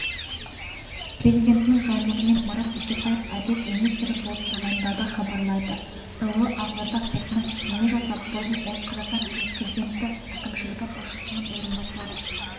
президентінің жарлығымен марат бекетаев әділет министрі болып тағайындалды хабарлайды іо ақорда сайтына сілтеме жасап бұрын ол қазақстан президенті әкімшілігі басшысының орынбасары